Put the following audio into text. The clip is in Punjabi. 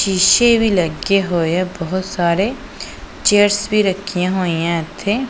ਸ਼ੀਸ਼ੇ ਵੀ ਲੱਗੇ ਹੋਏ ਆ ਬਹੁਤ ਸਾਰੇ ਚੇਅਰਸ ਵੀ ਰੱਖਿਆ ਹੋਈਆਂ ਇੱਥੇ।